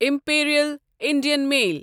Imperial Indian mail